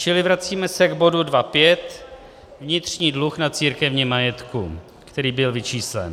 Čili vracíme se k bodu 2.5 Vnitřní dluh na církevním majetku, který byl vyčíslen.